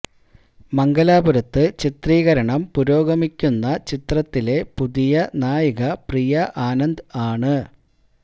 മംഗലാപുരത്ത് ചിത്രീകരണം പുരോഗമിക്കുന്ന ചിത്രത്തിലെ പുതിയ നായിക പ്രിയ ആനന്ദ് ആണ്